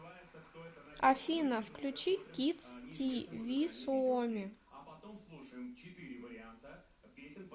афина включи кидс ти ви суоми